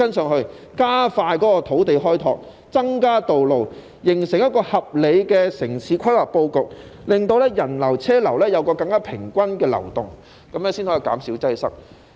政府應加快土地開拓，增加道路，形成一個合理的城市規劃布局，令人流和車流有更平均的流動，這樣才可以減少擠塞。